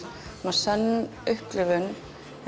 svona sönn upplifun